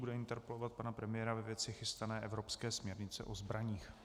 Bude interpelovat pana premiéra ve věci chystané evropské směrnice o zbraních.